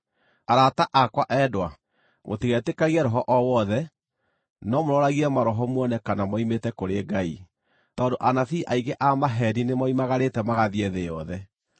Arata akwa endwa, mũtigetĩkagie roho o wothe, no mũroragie maroho muone kana moimĩte kũrĩ Ngai, tondũ anabii aingĩ a maheeni nĩmoimagarĩte magathiĩ thĩ yothe.